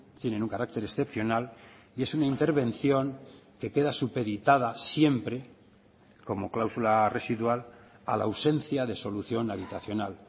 tienen un carácter excepcional y es una intervención que queda supeditada siempre como cláusula residual a la ausencia de solución habitacional